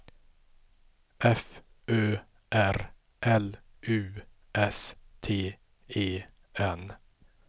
F Ö R L U S T E N